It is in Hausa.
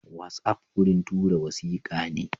Watsapp wurin tura wasikane.